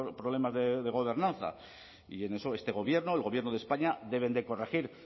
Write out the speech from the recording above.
problemas de gobernanza y en eso este gobierno el gobierno de españa debe de corregir